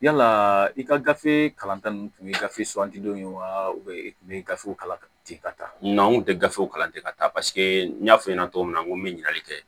Yala i ka gafe kalanta ninnu tun ye gafe suganti wa i tun bɛ gafew kalan ten ka taa n'anw kun tɛ gafew kalan ten ka taa n y'a fɔ i ɲɛna cogo min na n ko me ɲininkali kɛ